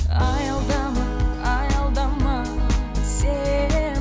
аялдама аялдама сен